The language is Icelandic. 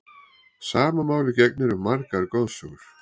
Sama máli gegnir um margar goðsögur.